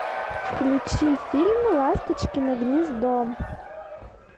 включи фильм ласточкино гнездо